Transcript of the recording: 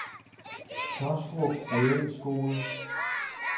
Taastrup Realskole